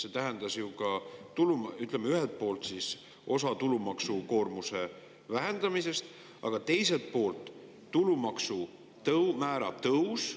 See ju ühelt poolt tulumaksukoormuse vähendamist, aga teiselt poolt tulumaksumäära tõusu.